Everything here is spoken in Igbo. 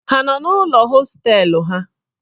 Ha nọ n'ụlọ hostelu ha?